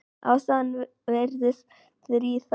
Ástæðan virðist þríþætt.